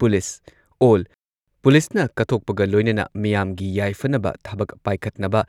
police ꯑꯣꯜ, ꯄꯨꯂꯤꯁꯅ ꯀꯠꯊꯣꯛꯄꯒ ꯂꯣꯏꯅꯅ ꯃꯤꯌꯥꯝꯒꯤ ꯌꯥꯏꯐꯅꯕ ꯊꯕꯛ ꯄꯥꯏꯈꯠꯅꯕ